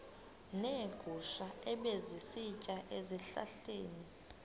neegusha ebezisitya ezihlahleni